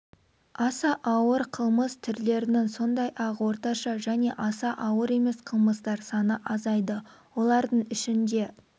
аса ауыр ауыр қылмыс түрлерінің сондай-ақ орташа және аса ауыр емес қылмыстар саны азайды олардың ішінде